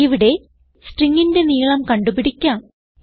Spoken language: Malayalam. ഇവിടെ stringന്റെ നീളം കണ്ടുപിടിക്കാം